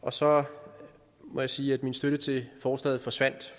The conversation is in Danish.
og så må jeg sige at min støtte til forslaget forsvandt